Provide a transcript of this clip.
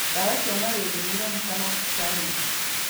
Ndawa cia Mariria nĩironekana thibitarĩ-inĩ